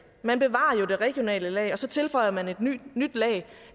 man bevarer jo det regionale lag og så tilføjer man et nyt lag